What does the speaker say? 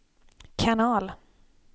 kanal